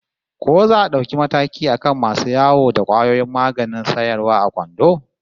Ko za a dauki mataki akan masu yawo da kwayoyin maganin sayarwa a kwando?